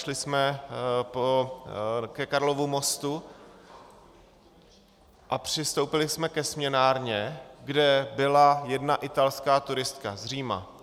Šli jsme ke Karlovu mostu a přistoupili jsme ke směnárně, kde byla jedna italská turistka z Říma.